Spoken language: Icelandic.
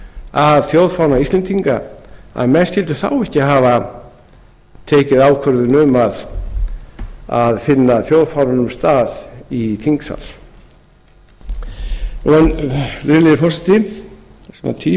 að þjóðfána íslendinga að mann skyldu þá ekki hafa tekið ákvörðun um að finna þjóðfánanum stað í þingsal virðulegi forseti